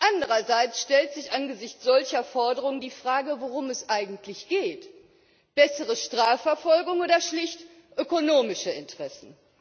Andererseits stellt sich angesichts solcher Forderungen die Frage, worum es eigentlich geht bessere Strafverfolgung oder schlicht ökonomische Interessen?